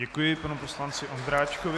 Děkuji panu poslanci Ondráčkovi.